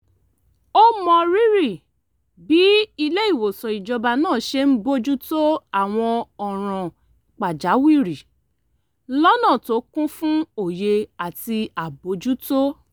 ó mọrírì bí ilé-ìwòsàn ìjọba náà ṣe ń bójú tó àwọn ọ̀ràn pàjáwìrì lọ́nà tó kún fún òye àti àbójútó